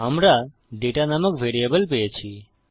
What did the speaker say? আমরা দাতা নামক ভ্যারিয়েবল পেয়েছি